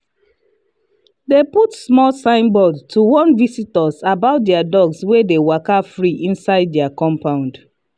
they put small signboard to warn visitors about their dogs wey dey waka free inside their compound.